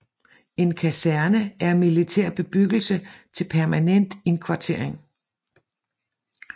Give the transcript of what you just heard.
En kaserne er militær bebyggelse til permanent indkvartering